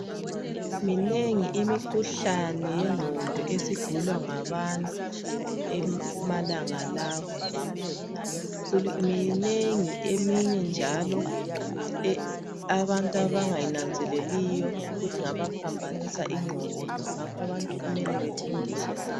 Minengi imikhuhlane yengqondo esigulwa ngabantu emalangeni lawa minengi eminye njalo abantu abangayinanzeleliyo ukuthi ingabaphambanisa ingqondo ngakho abantu kumele befundiswe ngayo.